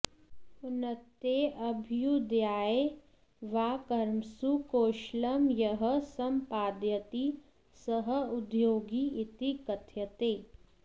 उन्नतये अभ्युदयाय वा कर्मसु कौशलं यः सम्पादयति सः उद्योगी इति कथ्यते